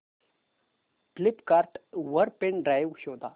Flipkart वर pen drive शोधा